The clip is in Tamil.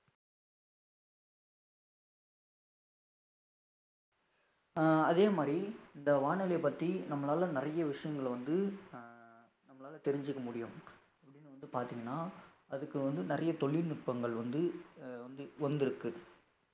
அஹ் அதே மாதிரி இந்த வானிலயப் பத்தி நம்மளால நெறய விஷயங்களை வந்து அஹ் நம்மளால தெரிஞ்சுக்க முடியும் எப்படினு வந்து பாத்தீங்கன்னா அதுக்கு வந்து நிறைய தொழில்நுட்பங்கள் வந்து அஹ் வந்திருக்கு